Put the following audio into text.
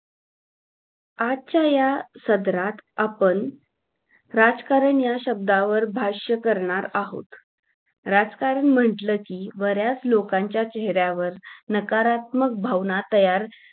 आजच्या या सदरात आपण राजकारण या शब्दावर भाष्य करणार आहोत राजकारण म्हंटल कि बऱ्याच लोकांच्या चेहऱ्यावर नकारत्मक भावना तयार